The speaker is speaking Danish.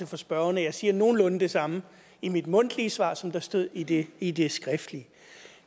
for spørgeren at jeg siger nogenlunde det samme i mit mundtlige svar som der stod i det i det skriftlige